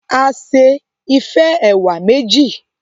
A ṣe Ife ẹwà méjì